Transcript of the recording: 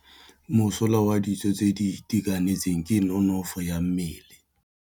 Mosola wa dijô tse di itekanetseng ke nonôfô ya mmele.